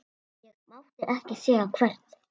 Ég mátti ekki segja hvert.